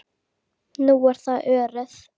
Nú er það Örið.